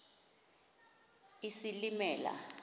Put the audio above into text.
isilimela